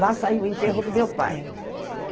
Lá saiu o enterro do meu pai.